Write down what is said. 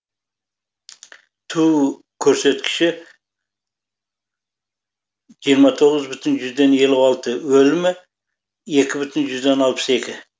туу көрсіткіші жиырма тоғыз бүтін жүзден елу алты өлімі екі бүтін жүзден алпыс екі